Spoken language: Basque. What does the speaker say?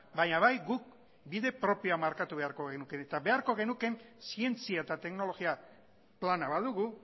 baina bai guk bide propioa markatu beharko genuke eta beharko genukeen zientzia eta teknologia plana badugu